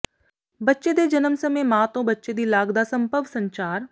ਬੱਚੇ ਦੇ ਜਨਮ ਸਮੇਂ ਮਾਂ ਤੋਂ ਬੱਚੇ ਦੀ ਲਾਗ ਦਾ ਸੰਭਵ ਸੰਚਾਰ